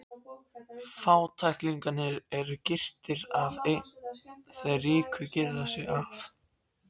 Fátæklingarnir eru girtir af en þeir ríku girða sig af.